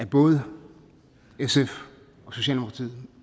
både sf og socialdemokratiet